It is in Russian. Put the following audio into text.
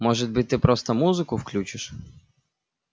может быть ты просто музыку включишь